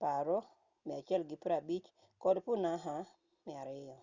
paro nu150 kod punakha nu 200